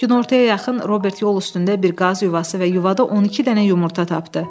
Günortaya yaxın Robert yol üstündə bir qaz yuvası və yuvada 12 dənə yumurta tapdı.